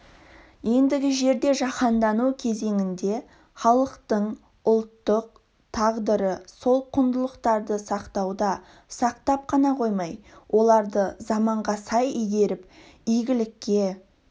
ендігі жерде жаһандану кезеңінде халықтың ұлттың тағдыры сол құндылықтарды сақтауда сақтап қана қоймай оларды заманға сай игеріп игілікке